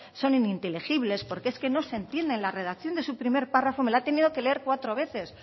son ininteligibles porque es que no se entienden la redacción de su primer párrafo me la he tenido que leer cuatro veces